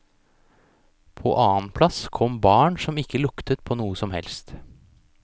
På annen plass kom barn som ikke luktet på noe som helst.